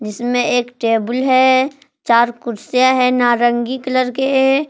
इसमें एक टेबुल है चार कुर्सियां है नारंगी कलर के।